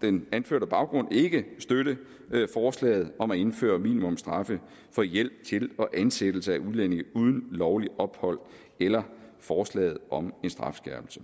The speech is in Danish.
den anførte baggrund ikke støtte forslaget om at indføre minimumsstraffe for hjælp til og ansættelse af udlændinge uden lovligt ophold eller forslaget om en strafskærpelse